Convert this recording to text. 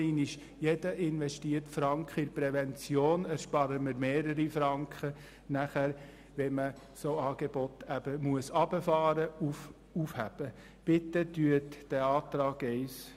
Nochmals: Durch jeden in die Prävention investierten Franken sparen wir mehrere Franken, im Gegensatz zum Herunterfahren oder Aufheben entsprechender Angebote.